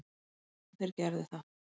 Þeir gerðu það.